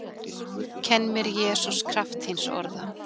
Kenn mér Jesús kraft þíns orða